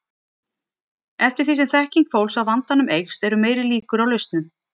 Eftir því sem þekking fólks á vandanum eykst eru meiri líkur á lausnum.